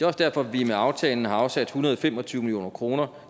også derfor at vi med aftalen har afsat en hundrede og fem og tyve million kroner